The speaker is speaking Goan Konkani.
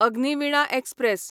अग्निविणा एक्सप्रॅस